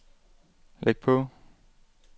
læg på